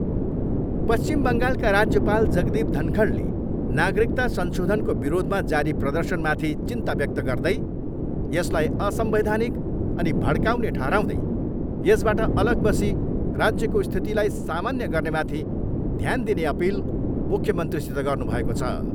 पश्चिम बङ्गालका राज्यपाल जगदीप धनखडले नागरिकता संशोधनको विरोधमा जारी प्रर्दशनमाथि चिन्ता व्यक्त गर्दै यसलाई असंवैधानिक अनि भडकाउने ठहराउँदै यसबाट अलग बसी राज्यको स्थितिलाई सामान्य गर्नेमाथि ध्यान दिने अपिल मुख्यमन्त्रीसित गर्नुभएको छ।